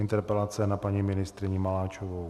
Interpelace na paní ministryni Maláčovou.